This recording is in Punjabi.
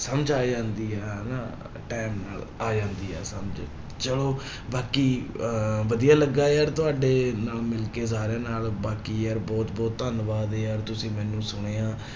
ਸਮਝ ਆ ਜਾਂਦੀ ਆ ਹਨਾ time ਨਾਲ ਆ ਜਾਂਦੀ ਆ ਸਮਝ, ਚਲੋ ਬਾਕੀ ਅਹ ਵਧੀਆ ਲੱਗਾ ਯਾਰ ਤੁਹਾਡੇ ਨਾਲ ਮਿਲਕੇ ਸਾਰਿਆਂ ਨਾਲ, ਬਾਕੀ ਯਾਰ ਬਹੁਤ ਬਹੁਤ ਧੰਨਵਾਦ ਯਾਰ ਤੁਸੀਂ ਮੈਨੂੰ ਸੁਣਿਆ।